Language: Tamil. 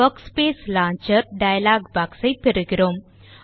வர்க்ஸ்பேஸ் லான்ச்சர் டயலாக் box ஐ பெறுகிறோம்